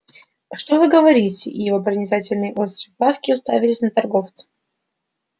а что вы говорите и его проницательные острые глазки уставились на торговца